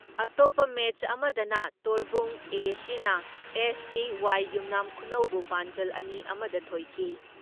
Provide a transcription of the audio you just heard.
ꯑꯇꯣꯞꯄ ꯃꯦꯠꯁ ꯑꯃꯗꯅ ꯊꯣꯔꯕꯨꯡ ꯑꯦ.ꯁꯤꯅ ꯑꯦꯁ.ꯁꯤ.ꯋꯥꯏ ꯌꯨꯅꯥꯝ ꯈꯨꯅꯧ ꯕꯨ ꯄꯥꯟꯖꯜ ꯑꯅꯤ ꯑꯃ ꯗ ꯊꯣꯏꯈꯤ ꯫